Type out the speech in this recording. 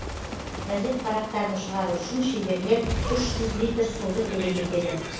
газет парақтарын шығару үшін шеберлер үш жүз литр суды керек етеді